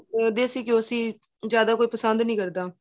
ਦੇਸੀ ਘਿਓਂ ਸੀ ਜਿਆਦਾ ਕੋਈ ਪਸੰਦ ਨਹੀਂ ਕਰਦਾ